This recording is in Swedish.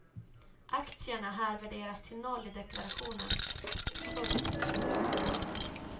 Aktierna här värderas till noll i deklarationen. punkt